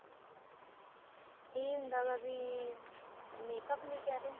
ਇਹ ਹੁੰਦਾ ਗਾ ਵੀ makeup ਕੀ ਕਹਿ ਰਹੇ ਹੋ